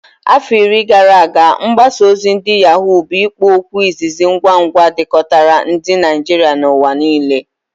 Afọ iri gara aga, mgbaza ozi ndi Yaghó bụ ikpo okwu izizi ngwa ngwa jikọtara ndị Naijiria n'ụwa niile.